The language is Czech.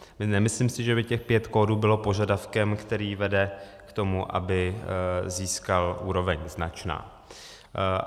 Nemyslím si, že by těch pět kódů bylo požadavkem, který vede k tomu, aby získal úroveň značná.